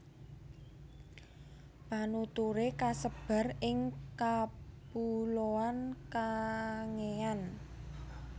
Penuturé kasebar ing kapuloan Kangean